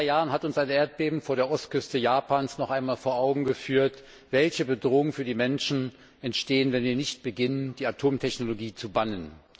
Vor genau zwei Jahren hat uns ein Erdbeben vor der Ostküste Japans noch einmal vor Augen geführt, welche Bedrohungen für die Menschen entstehen, wenn wir nicht beginnen, die Atomtechnologie zu bannen.